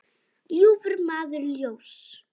ljúfur maður ljóss.